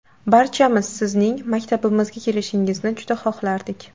Barchamiz Sizning maktabimizga kelishingizni juda xohlardik.